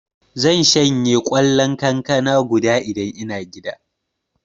Zan shanye kwallon kankana guda Idan ina gida.